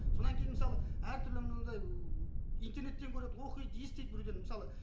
кейін мысалы әртүрлі анандай ыыы интернеттен көреді оқиды естиді бір күні мысалы